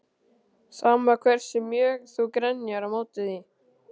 Sama hversu mjög þú grenjar á móti því.